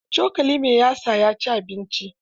Da cokali mai yatsa ya ci abincin.